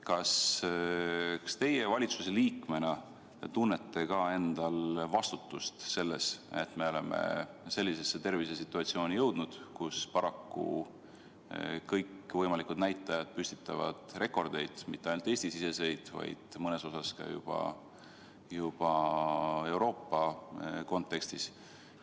Kas teie valitsuse liikmena tunnete ka endal vastutust selles, et me oleme jõudnud sellisesse tervisesituatsiooni, kus kõikvõimalikud näitajad püstitavad paraku rekordeid, mitte ainult Eesti-siseseid, vaid mõnel juhul ka juba Euroopa kontekstis?